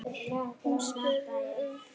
Hún spurði um þig.